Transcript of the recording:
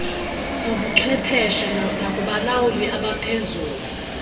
zobuchwepheshe nakubalawuli abaphezulu